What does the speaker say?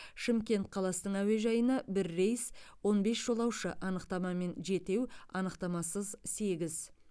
шымкент қаласының әуежайына бір рейс он бес жолаушы анықтамамен жетеу анықтамасыз сегіз